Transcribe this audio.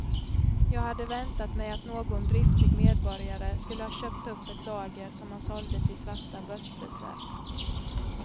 Jag hade väntat mig att någon driftig medborgare skulle ha köpt upp ett lager som han sålde till svarta börspriser.